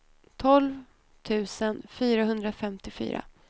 tolv tusen fyrahundrafemtiofyra